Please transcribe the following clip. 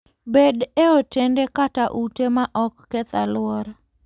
Bed e otende kata ute ma ok keth alwora.